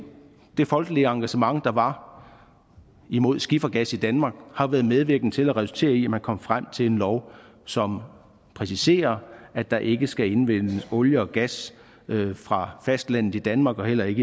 det folkelige engagement der var imod skifergas i danmark har været medvirkende til og har resulteret i at man kom frem til en lov som præciserer at der ikke skal indvindes olie og gas fra fastlandet i danmark og heller ikke